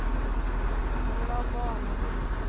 Hon vill ha barn och hus.